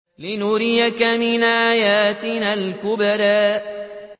لِنُرِيَكَ مِنْ آيَاتِنَا الْكُبْرَى